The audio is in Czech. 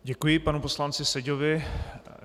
Děkuji panu poslanci Seďovi.